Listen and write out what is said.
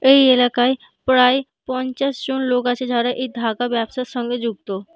এই এলাকায় প্রায় পঞ্চাশ জন লোক আছে যারা এই ধাগা ব্যবসার সঙ্গে যুক্ত।